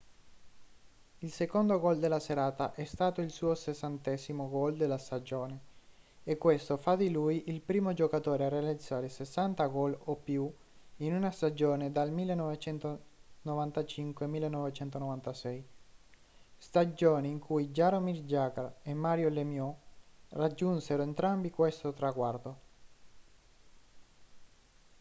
il secondo gol della serata è stato il suo 60° gol della stagione e questo fa di lui il primo giocatore a realizzare 60 gol o più in una stagione dal 1995-96 stagione in cui jaromir jagr e mario lemieux raggiunsero entrambi questo traguardo